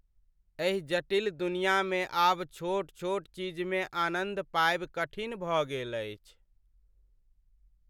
एहि जटिल दुनियामे आब छोट छोट चीजमे आनन्द पायब कठिन भऽ गेल अछि।